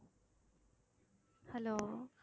hello